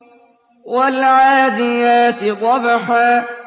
وَالْعَادِيَاتِ ضَبْحًا